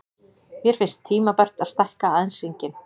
Mér finnst tímabært að stækka aðeins hringinn.